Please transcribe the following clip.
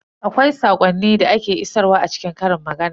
Akwai saƙonni da ake isarwa a cikin ƙarin magana.